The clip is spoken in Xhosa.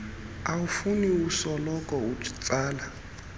awufuni ukusoloko utsala